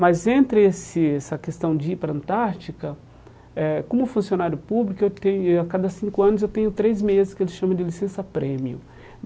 Mas entre esse essa questão de ir para a Antártica eh, como funcionário público, eu teria a cada cinco anos eu tenho três meses que eles chamam de licença-prêmio.